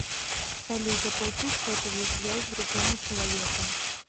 салют оплатить сотовую связь другому человеку